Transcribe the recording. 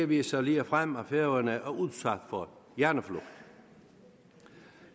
viser ligefrem at færøerne er udsat for hjerneflugt